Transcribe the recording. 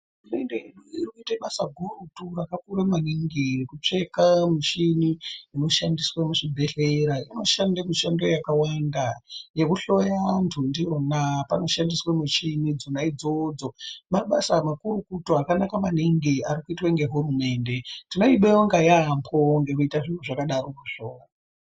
Hurumende yedu iri kuita basa gurutu, rakakura maningi rekutsveka michini inoshandiswa muzvibhedhlera, ino shanda mishando yakawanda yekuhloya anthu ndiwona, panoshandiswa michini dzona idzodzo. Mabasa makurukutu akanaka maningi arikuitwa ngehurumende, tinoyi bonga yaambo ngekuita zvinhu zvakadarokozvo.